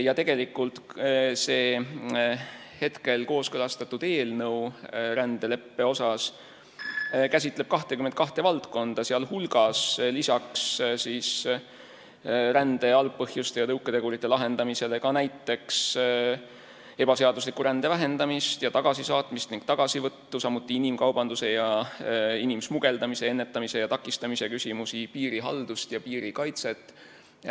Ja tegelikult käsitleb see kooskõlastatud rändeleppe eelnõu 22 valdkonda, sh lisaks rände algpõhjuste ja tõuketegurite lahendamisele näiteks ebaseadusliku rände vähendamist ning tagasisaatmist ja tagasivõttu, inimkaubanduse ja inimsmugeldamise ennetamise ja takistamise küsimusi, piirihaldust ja piirikaitset.